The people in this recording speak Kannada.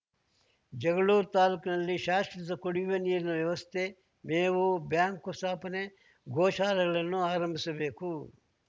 ಜಗಳೂರು ತಾಲೂಕಿನಲ್ಲಿ ಶಾಶ್ವತ ಕುಡಿಯುವ ನೀರಿನ ವ್ಯವಸ್ಥೆ ಮೇವು ಬ್ಯಾಂಕ್‌ ಸ್ಥಾಪನೆ ಗೋ ಶಾಲೆಗಳನ್ನು ಆರಂಭಿಸಬೇಕು